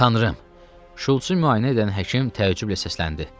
Tanrım, Şultsu müayinə edən həkim təəccüblə səsləndi.